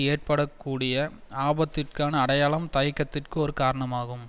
ஏற்பட கூடிய ஆபத்திற்கான அடையாளம் தயக்கத்திற்கு ஒரு காரணமாகும்